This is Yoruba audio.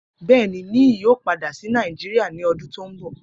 Bẹẹni, Niyi yoo pada si Nàìjíìà ni ọdun to nbọ.